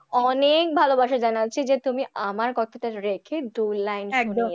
অনেক ভালোবাসা জানাচ্ছি যে তুমি আমার কথাটা রেখে দু line শুনিয়েছ